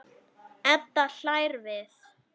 Edda hlær við.